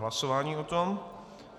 Hlasování o tom.